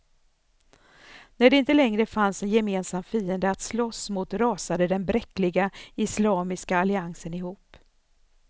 När det inte längre fanns en gemensam fiende att slåss mot rasade den bräckliga islamiska alliansen ihop.